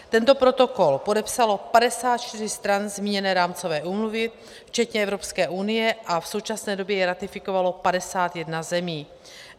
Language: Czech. Tento protokol podepsalo 54 stran zmíněné rámcové úmluvy včetně Evropské unie a v současné době ji ratifikovalo 51 zemí.